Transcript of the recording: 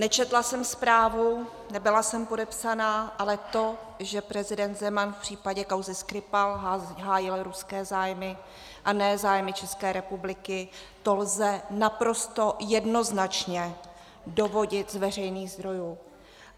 Nečetla jsem zprávu, nebyla jsem podepsána, ale to, že prezident Zeman v případě kauzy Skripal hájil ruské zájmy a ne zájmy České republiky, to lze naprosto jednoznačně dovodit z veřejných zdrojů.